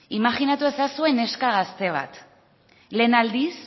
imajinatu ezazue neska gazte bat lehen aldiz